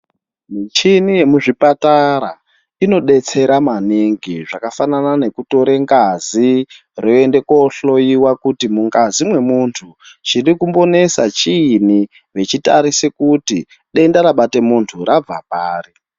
Michini yemuzvipatara inodetsera maningi zvakafanana nekutore ngazi roende kohlowiwa kuti mungazi mwemuntu chirikumbonesa chiini veitarisa kuti denda rabate munhu rabve pari.